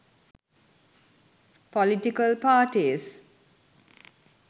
political parties